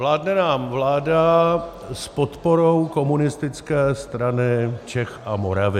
Vládne nám vláda s podporou Komunistické strany Čech a Moravy.